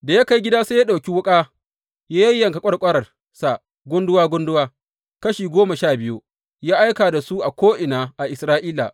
Da ya kai gida, sai ya ɗauki wuƙa ya yayyanka ƙwarƙwaransa gunduwa gunduwa, kashi goma sha biyu ya aika da su a ko’ina a Isra’ila.